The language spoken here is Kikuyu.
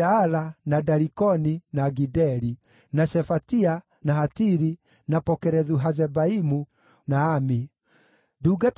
Nake barũthi wa kũu akĩmaatha matikarĩe irio iria therie mũno o nginya gũkaagĩa mũthĩnjĩri-Ngai